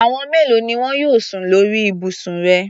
Àwọn mélòo ni wọn yóò sùn lórí ibùsùn rẹ?